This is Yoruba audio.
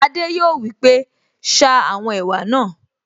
Adé yòó wí pé, 'ṣa àwọn ẹ̀wà náà'